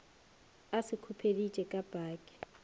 a se khupeditše ka paki